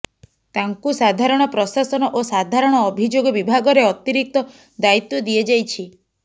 ତାଙ୍କୁ ସାଧାରଣ ପ୍ରଶାସନ ଓ ସାଧାରଣ ଅଭିଯୋଗ ବିଭାଗରେ ଅତିରିକ୍ତ ଦାୟିତ୍ୱ ଦିଆଯାଇଛି